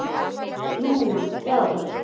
Núna, já.